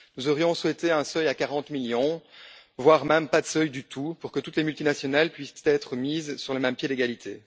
Nous aurions souhaité un seuil à 40 millions, voire pas de seuil du tout, pour que toutes les multinationales puissent être mises sur un pied d'égalité.